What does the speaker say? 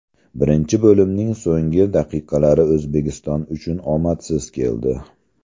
Birinchi bo‘limning so‘nggi daqiqalari O‘zbekiston uchun omadsiz keldi.